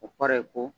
O kɔrɔ ye ko